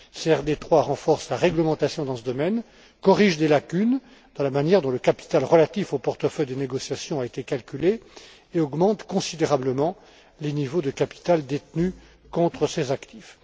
CRD 3 renforce la réglementation dans ce domaine, corrige des lacunes dans la manière dont le capital relatif au portefeuille des négociations a été calculé et augmente considérablement les niveaux de capital détenu contre ses actifs.